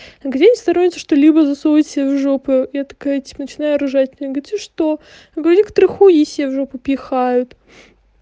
где стораются что-либо засовывать в жопу я такая типа начинаю ржать она говорит и что некоторые хуи себе в жопу пихают